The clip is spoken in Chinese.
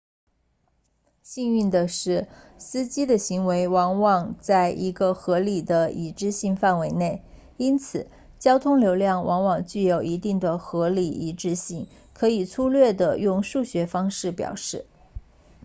幸运的是司机的行为往往在一个合理的一致性范围内因此交通流量往往具有一定的合理一致性可以粗略地用数学方式表示